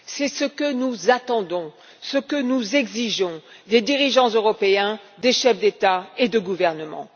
C'est ce que nous attendons, ce que nous exigeons des dirigeants européens, des chefs d'État et de gouvernement.